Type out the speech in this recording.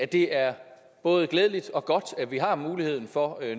det er både glædeligt og godt at vi har muligheden for